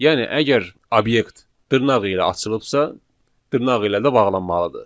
Yəni əgər obyekt dırnaq ilə açılıbsa, dırnaq ilə də bağlanmalıdır.